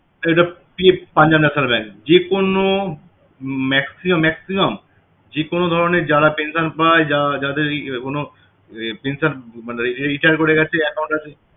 এটা পি~ punjab national bank যেকোন maximum maximum যেকোন ধরণের যারা pension পায় যাদের কোনো ইয়া pension মানে retire করে গেছে account আছে